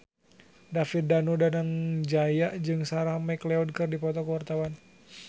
David Danu Danangjaya jeung Sarah McLeod keur dipoto ku wartawan